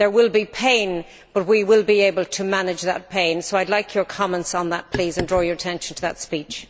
There will be pain, but we will be able to manage that pain. I would like your comments on that please and also to draw your attention to that speech.